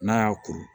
N'a y'a kuru